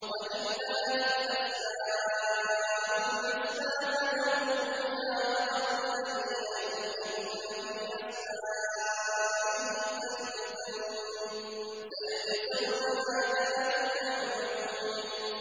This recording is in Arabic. وَلِلَّهِ الْأَسْمَاءُ الْحُسْنَىٰ فَادْعُوهُ بِهَا ۖ وَذَرُوا الَّذِينَ يُلْحِدُونَ فِي أَسْمَائِهِ ۚ سَيُجْزَوْنَ مَا كَانُوا يَعْمَلُونَ